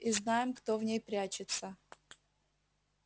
и знаем кто в ней прячется